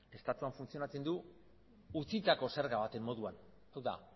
estatuan funtzionatzen du utzitako zerga baten moduan hau da